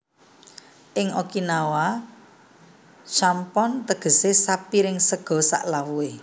Ing Okinawa champon tegese sapiring sega salawuhe